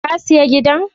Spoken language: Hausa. Ka siya gidan?